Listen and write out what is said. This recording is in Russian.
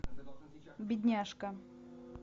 бедняжка